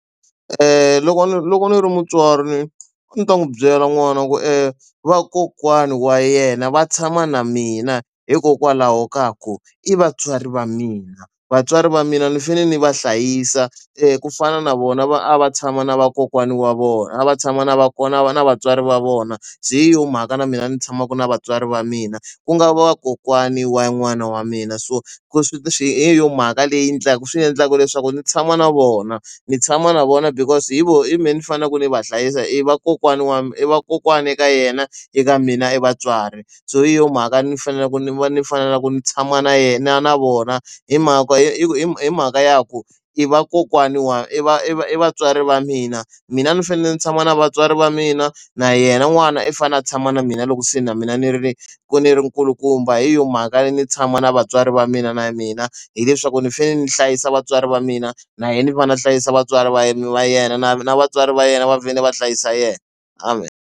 Loko loko ndzi ri mutswari a ndzi ta n'wi byela n'wana ku i vakokwani wa yena va tshama na mina hikokwalaho ka ku i vatswari va mina vatswari va mina ni fanele ni va hlayisa ku fana na vona va a va tshama na vakokwani wa vona a va tshama na vakokwana a va na vatswari va vona byi hi yo mhaka na mina ni tshamaka na vatswari va mina ku nga vakokwani wa n'wana wa mina so swi swi hi yo mhaka leyi endlaka swi endlaka leswaku ndzi tshama na vona ndzi tshama na vona because hi vona i mehe ni fanele ni va hlayisa i va kokwana wa mina i vakokwani eka yena eka mina i vatswari so hi yo mhaka ni faneleke ni va ni fana na ku ni tshama na yena na vona hi mhaka hi hi hi mhaka ya ku i vakokwani wa i va i vatswari va mina mina ni fanele ni tshama na vatswari va mina na yena n'wana i fane a tshama na mina loko se na mina ni ri ka ni ri nkulukumba hi yona mali hakanene ni tshama na vatswari va mina na mina hileswaku ni fanele ni hlayisa vatswari va mina na yena va na hlayisa vatswari va yime va yena na na vatswari va yena va vhele va hlayisa yena amen.